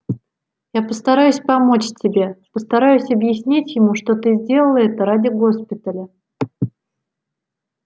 я постараюсь помочь тебе постараюсь объяснить ему что ты сделала это ради госпиталя